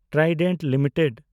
Trident limited